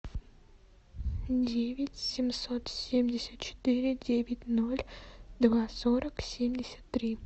девять семьсот семьдесят четыре девять ноль два сорок семьдесят три